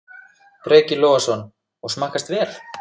Breki Logason: Og smakkast vel?